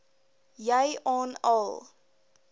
jy aan al